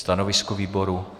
Stanovisko výboru?